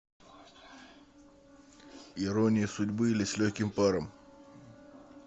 ирония судьбы или с легким паром